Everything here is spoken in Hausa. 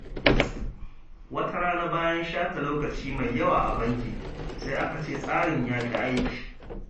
Wata rana, bayan shafe lokaci mai yawa a banki, sai aka ce tsarin ya ƙi aiki.